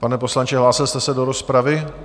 Pane poslanče, hlásil jste se do rozpravy?